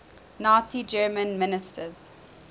nazi germany ministers